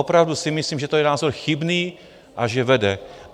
Opravdu si myslím, že to je názor chybný a že vede...